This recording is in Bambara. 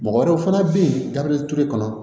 Mɔgɔ wɛrɛw fana bɛ yen gabriel ture kɔnɔ